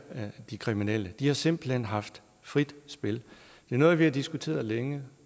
de kriminelle de har simpelt hen haft frit spil det er noget vi har diskuteret længe